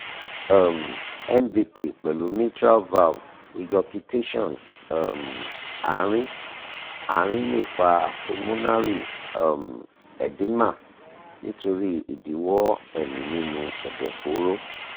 um mvp pẹ̀lú mitral valve regurgitation um àárín-àárín lè fa pulmonary um edema nítorí ìdíwọ́ ẹ̀mí nínú ẹ̀dọ̀fóró